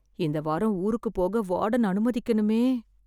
இந்த வாரம் ஊருக்கு போக வார்டன் அனுமதிக்கணுமே...